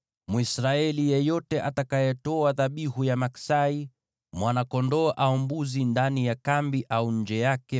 Mwisraeli yeyote atakayetoa dhabihu ya maksai, mwana-kondoo au mbuzi ndani ya kambi au nje yake,